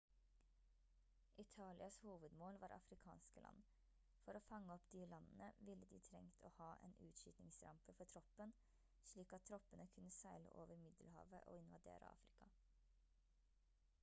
italias hovedmål var afrikanske land for å fange opp de landene ville de trengt å ha en utskytningsrampe for troppen slik at troppene kunne seile over middelhavet og invadere afrika